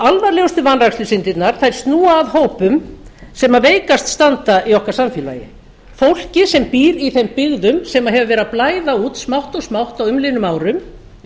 alvarlegustu vanrækslusyndirnar snúa að hópum sem veikast standa í okkar samfélagi fólki sem býr í þeim byggðum sem hefur verið að blæða út smátt og smátt á umliðnum árum